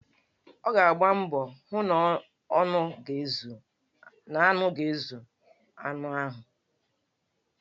Ọ ga-agba mbọ hụ na nnu ga-ezu anụ ahụ.